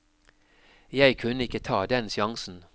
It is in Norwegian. Jeg kunne ikke ta den sjansen.